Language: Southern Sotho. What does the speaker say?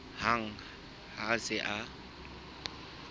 hang ha a se a